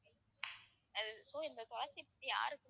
அஹ் so இந்த துளசி பத்தி யாருக்குமே